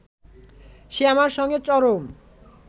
সে আমার সঙ্গে চরম